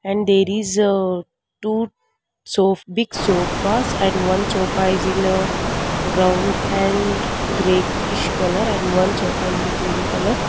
and there is uh two sof big sofas and one sofa is in a brown and greyish colour and one sofa is in green colour.